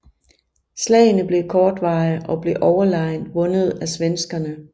Slagene var kortvarige og blev overlegent vundet af svenskerne